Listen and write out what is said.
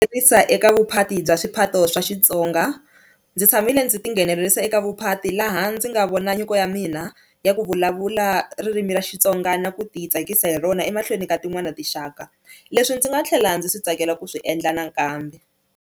Tsarisa eka vuphati bya swiphato swa Xitsonga, ndzi tshamile ndzi ti nghenelerisa eka vuphati laha ndzi nga vona nyiko ya mina ya ku vulavula ririmi ra Xitsonga na ku ti tsakisa hi rona emahlweni ka tin'wani na tinxaka leswi ndzi nga tlhela ndzi swi tsakela ku swi endla nakambe.